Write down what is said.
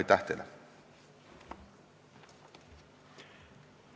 Aitäh teile!